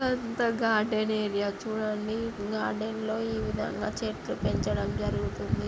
ఇక్కడ garden area చూడండి. Garden లో ఈ విధంగా చెట్లు పెంచడం జరుగుతుంది.